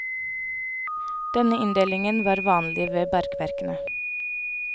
Denne inndelingen var vanlig ved bergverkene.